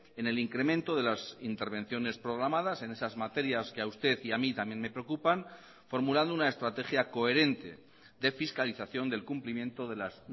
en el incremento de las intervenciones programadas en esas materias que a usted y a mí también me preocupan formulando una estrategia coherente de fiscalización del cumplimiento de las